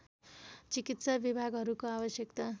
चिकित्सा विभागहरूको आवश्यकता